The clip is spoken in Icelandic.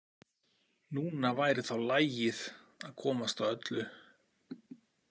Núna væri þá lagið að komast að öllu.